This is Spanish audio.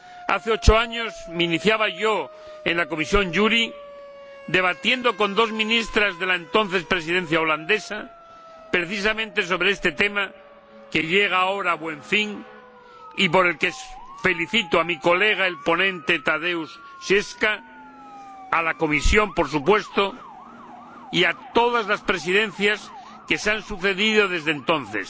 Hace ocho años me iniciaba yo en la Comisión de Asuntos Jurídicos debatiendo con dos ministras de la entonces Presidencia neerlandesa precisamente sobre este tema, que llega ahora a buen fin y por el que felicito a mi colega, el ponente Tadeusz Zwiefka, a la Comisión, por supuesto, y a todas las Presidencias que se han sucedido desde entonces,